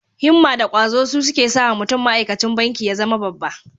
Himma da ƙwazo su suke sawa mutum ma'aikacin banki ya zama babba.